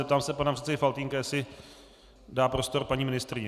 Zeptám se pana předsedy Faltýnka, jestli dá prostor paní ministryni.